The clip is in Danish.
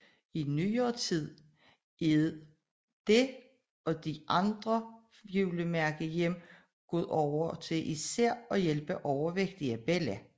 I nyere tid er det og de fire andre julemærkehjem gået over til især at hjælpe overvægtige børn